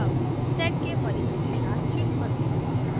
अब sed के परिचय के साथ शुरू करते हैं